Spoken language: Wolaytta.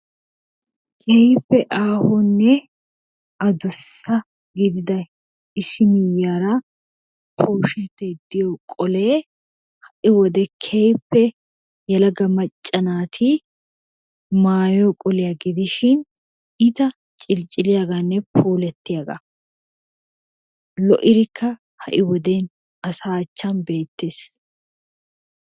Keehippe aahonne adussa gidida issi miyyiyara pooshetay diyo qolee ha"i wode keehippe yelaga macca naati maayo qoliya gidishin iita ciliciliyagaanne puulattiyagaa. Lo'idikka asaa matan beettees.